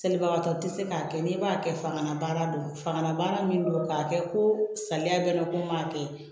Selibagatɔ tɛ se k'a kɛ n'i b'a kɛ fangalabaara don fanga min do k'a kɛ ko salaya bɛ ne ko n b'a kɛ